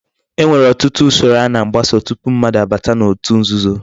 E nwere otutu usoro a na-agbaso tupu mmadu abata otu nzuzo